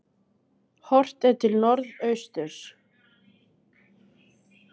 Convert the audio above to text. Horft er til norðausturs.